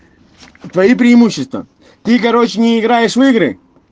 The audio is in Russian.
твои преимущества ты короче не играешь в игры